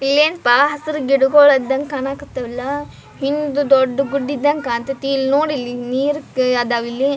ಇಲ್ಲೆನ್ಪ ಹಸರ್ ಗಿಡಗೊಳ್ ಇದ್ದಂಗ್ ಕಣಕಥಾವ್ ಅಲ ಹಿಂದ ದೊಡ್ಡ್ ಗುಡ್ಡ ಕಣ್ತಿತಿತಿ ಇಲ್ ನೋಡಿಲ್ಲಿ ನೀರ್ಕ ಅದವಿಲ್ಲಿ --